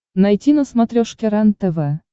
найти на смотрешке рентв